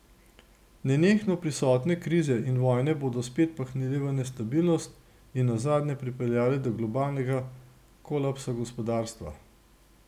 Nenehno prisotne krize in vojne bodo svet pahnile v nestabilnost in nazadnje pripeljale do globalnega kolapsa gospodarstva.